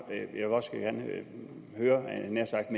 jeg også gerne ville høre havde jeg nær sagt